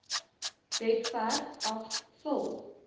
webwerf af vul